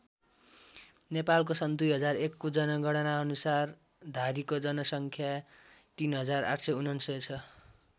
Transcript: नेपालको सन् २००१को जनगणना अनुसार धारीको जनसङ्ख्या ३८९९ छ।